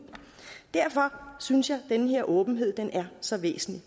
derfor synes jeg den her åbenhed er så væsentlig